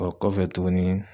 Ɔ kɔfɛ tuguni